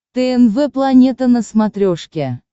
тнв планета на смотрешке